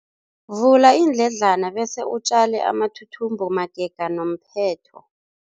Vula iindledlana bese utjale amathuthumbo magega nomphetho.